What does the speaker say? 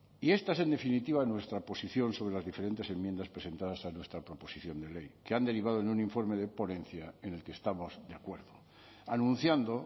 y esta es en definitiva nuestra posición sobre las diferentes enmiendas presentadas a nuestra proposición de ley que han derivado en un informe de ponencia en el que estamos de acuerdo anunciando